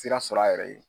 Sira sɔrɔ a yɛrɛ ye